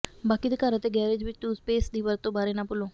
ਬਾਕੀ ਦੇ ਘਰ ਅਤੇ ਗੈਰੇਜ ਵਿਚ ਟੂਥਪੇਸਟ ਦੀ ਵਰਤੋਂ ਬਾਰੇ ਨਾ ਭੁੱਲੋ